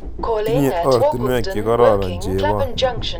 Tinye ortinwek chekororon chebon